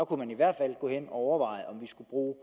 kunne man i hvert fald overveje om vi skulle bruge